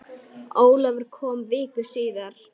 Ólafur kom viku síðar.